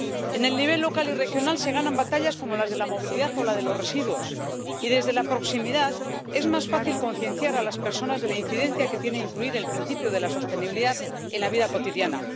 En el nivel local y regional se ganan batallas como las de la movilidad o la de los residuos y, desde la proximidad, es más fácil concienciar a las personas de la incidencia que tiene incluir el principio de la sostenibilidad en la vida cotidiana.